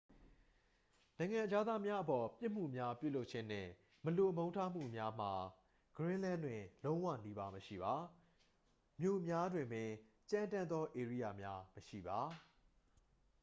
"နိုင်ငံခြားသားများအပေါ် ပြစ်မှုများပြုလုပ်ခြင်းနှင့် မလိုမုန်းထားမှုများမှာ ဂရင်းလန်း တွင် လုံးဝနီးပါး မရှိပါ။ မြို့များတွင်ပင် "ကြမ်းတမ်းသော ဧရိယာများ" မရှိပါ။